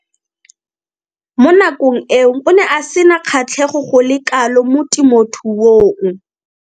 Mo nakong eo o ne a sena kgatlhego go le kalo mo temothuong.